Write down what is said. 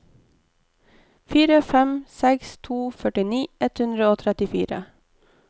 fire fem seks to førtini ett hundre og trettifire